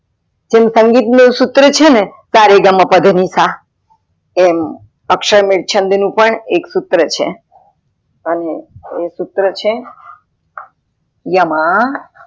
સુર સંગીત નું સુત્ર છેને સ, રે, ગા, માં, પ, ધ, ની, સા, એમ અક્ષરમેળ છંદ મેલ નું પણ સુત્ર છે અને એ સુત્ર છે, ય, મ